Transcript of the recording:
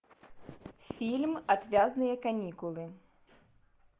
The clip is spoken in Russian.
фильм отвязные каникулы